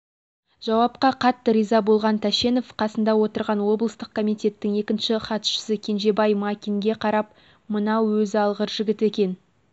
жауапқа қатты риза болған тәшенов қасында отырған облыстық комитеттің екінші хатшысы кенжебай макинге қарап мынау өзі алғыр жігіт екен